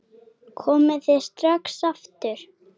Komið þið strax aftur!